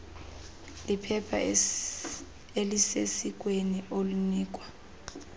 liphepha elisesikweni olinikwa